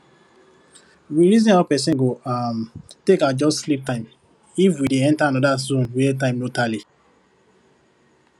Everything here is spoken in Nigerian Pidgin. we reason how person go um take adjust sleep time if we dey enter another zone were time no tally